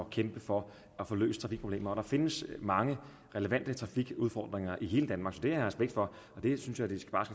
kæmpe for at få løst trafikproblemer og der findes mange relevante trafikudfordringer i hele danmark så det har jeg respekt for og det synes jeg de bare